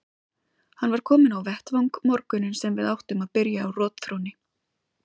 Hann var kominn á vettvang morguninn sem við áttum að byrja á rotþrónni.